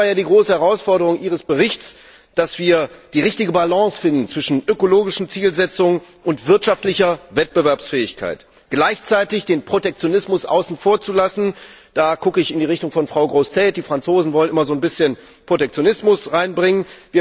Das war ja die große Herausforderung Ihres Berichts, dass wir die richtige Balance zwischen ökologischen Zielsetzungen und wirtschaftlicher Wettbewerbsfähigkeit finden und gleichzeitig den Protektionismus außen vor lassen da schaue ich in die Richtung von Frau Grossetête, denn die Franzosen wollen immer ein bisschen Protektionismus hineinbringen.